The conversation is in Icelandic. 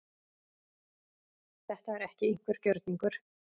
Þetta er ekki einhver gjörningur